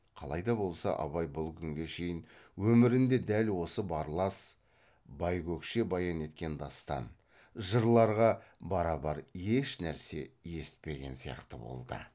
қалайда болса абай бұл күнге шейін өмірінде дәл осы барлас байкөкше баян еткен дастан жырларға барабар ешнәрсе есітпеген сияқты болды